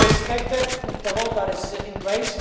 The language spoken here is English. We have to respect the law that is in place.